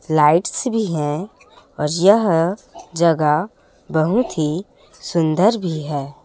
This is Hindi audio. लाइट्स भी है और यह जगह बहुत ही सुंदर भी है।